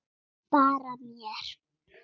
Bara mér.